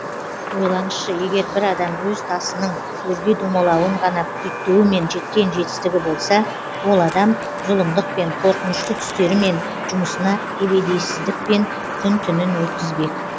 ойлаңызшы егер бір адам өз тасының өрге домалауын ғана күйттеуімен жеткен жетістігі болса ол адам зұлымдықпен қорқынышты түстерімен жұмысына ебедейсіздікпен күн түнін өткізбек